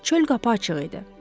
Çöl qapı açıq idi.